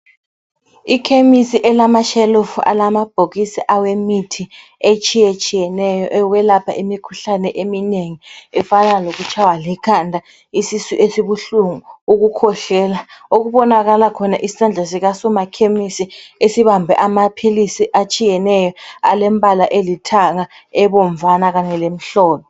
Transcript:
Ikhemisi elamashelufu alamabhokisi awemithi etshiye tshiyeneyo yokwelapha imikhuhlane eminengi efana lokutshaywa likhanda, isisu esibuhlungu, ukukhwehlela. Okubonakala khona isandla sikasoma khemisi esibambe amaphilizi atshiyeneyo alembala elithanga, ebomvana kanye lemhlophe.